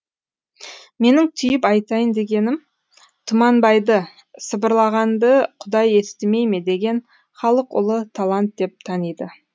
менің түйіп айтайын дегенім тұманбайды сыбырлағанды құдай естімей ме деген халық ұлы талант деп таниды